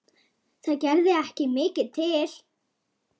Þá var ég átján ára.